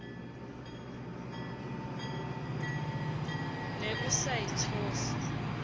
ne o sa e tshohle